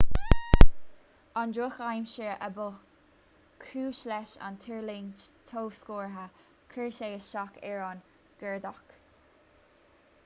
an drochaimsir a ba chúis leis an tuirlingt thobscortha chuir sé isteach ar an gcuardach